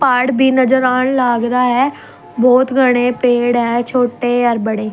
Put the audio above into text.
पहाड़ भी नजर आण लाग रा ह बहुत घणे पेड़ ह छोटे अर बड़े .